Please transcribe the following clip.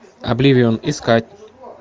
обливион искать